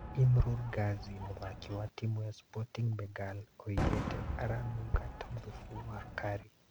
Imrul Gazi mũthaki wa timũ ya Sporting Bengal oigĩte "aranunga ta thubu wa curry"